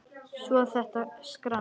Svo þetta skrans.